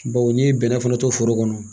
Bawo n'i ye bɛnɛ fana to foro kɔnɔ